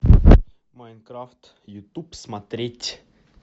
майнкрафт ютуб смотреть